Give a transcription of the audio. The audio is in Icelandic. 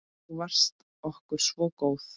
Þú varst okkur svo góð.